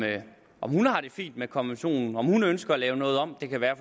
hun har det fint med konventionen og om hun ønsker at lave noget om det kan være